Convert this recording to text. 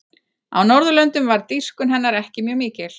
á norðurlöndum varð dýrkun hennar ekki mjög mikil